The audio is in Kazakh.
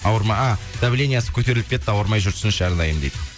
ауырма а давлениесі көтеріліп кетті ауырмай жүрсінші әрдайым дейді